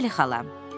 Bəli, xala.